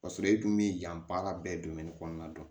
Ka sɔrɔ i dun mi yan baara bɛɛ kɔnɔna na